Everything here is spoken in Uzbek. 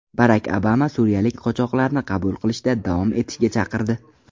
Barak Obama suriyalik qochoqlarni qabul qilishda davom etishga chaqirdi.